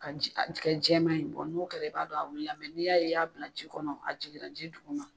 Ka ji a kɛ jɛman ye n'o kɛra i b'a dɔn a wulila n'i y'a ye i y'a bila ji kɔnɔ a jiginra ji dugu ma.